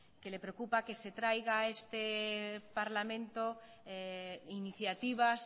que le preocupa que se traiga a este parlamento iniciativas